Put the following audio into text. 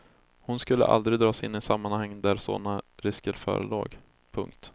Hon skulle aldrig dras in i sammanhang där såna risker förelåg. punkt